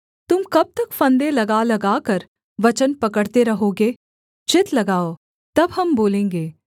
तुम कब तक फंदे लगा लगाकर वचन पकड़ते रहोगे चित्त लगाओ तब हम बोलेंगे